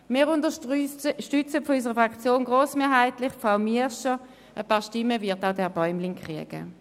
Wir unterstützen vonseiten unserer Fraktion grossmehrheitlich Frau Miescher, ein paar Stimmen wird auch Herr Bäumlin erhalten.